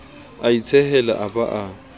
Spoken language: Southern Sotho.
a itshehela a ba a